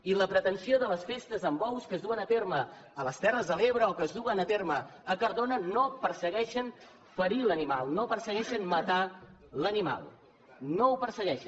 i la pretensió de les festes amb bous que es duen a terme a les terres de l’ebre o que es duen a terme a cardona no persegueix ferir l’animal no persegueix matar l’animal no ho persegueix